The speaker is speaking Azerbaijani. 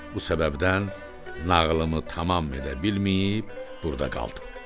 Bu səbəbdən nağılımı tamam edə bilməyib burda qaldım.